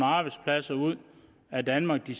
arbejdspladser ud af danmark de